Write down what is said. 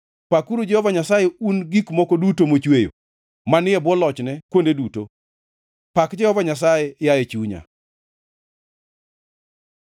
Pakuru Jehova Nyasaye, un gik moko duto mochweyo, manie bwo lochne kuonde duto. Pak Jehova Nyasaye, yaye chunya.